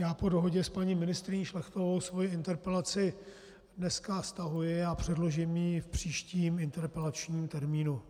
Já po dohodě s paní ministryní Šlechtovou svou interpelaci dneska stahuji a předložím ji v příštím interpelačním termínu.